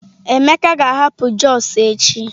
Emeka ga-ahapụ Jos echi.